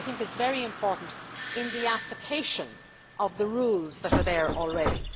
This is very important for the application of the rules that are there already.